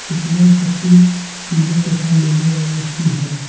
इलसलन पट्टी पीले तथा नीले रंग की है।